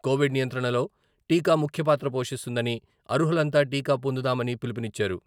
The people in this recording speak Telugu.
కోవిడ్ నియంత్రణలో టీకా ముఖ్య పాత్ర పోషిస్తుందని..అర్హులంతా టీకా పొందుదామని పిలుపునిచ్చారు.